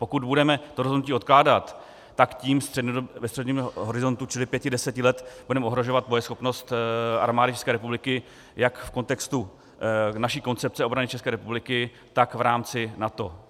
Pokud budeme to rozhodnutí odkládat, tak tím ve středním horizontu, čili pěti, deseti let, budeme ohrožovat bojeschopnost Armády České republiky jak v kontextu naší koncepce obrany České republiky, tak v rámci NATO.